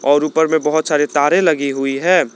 और ऊपर में बहोत सारे तारे लगी हुई है।